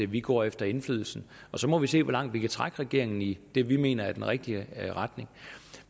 vi går efter indflydelsen og så må vi se hvor langt vi kan trække regeringen i det vi mener er den rigtige retning